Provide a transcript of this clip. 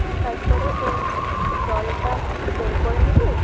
তারপরে ওই জলটা বের করে নিবি।